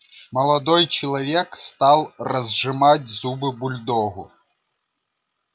молодой человек стал разжимать зубы бульдогу